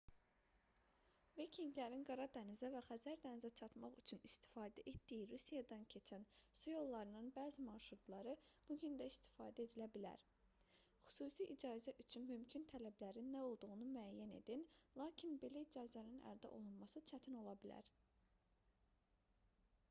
vikinqlərin qara dənizə və xəzər dənizinə çatmaq üçün istifadə etdiyi rusiyadan keçən su yollarının bəzi marşrutları bu gün də istifadə edilə bilər xüsusi icazə üçün mümkün tələblərin nə olduğunu müəyyən edin lakin belə icazənin əldə olunması çətin ola bilər